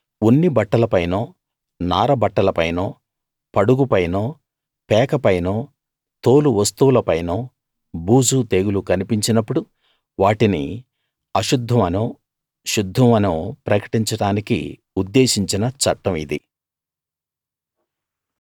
ఉన్ని బట్టల పైనో నార బట్టలపైనో పడుగుపైనో పేకపైనో తోలు వస్తువులపైనో బూజూ తెగులూ కన్పించినప్పుడు వాటిని అశుద్ధం అనో శుద్ధం అనో ప్రకటించడానికి ఉద్దేశించిన చట్టం ఇది